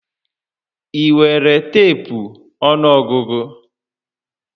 Ị nwere teepu ọnụọgụgụ?